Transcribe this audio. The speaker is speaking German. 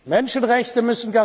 aber Menschenrechte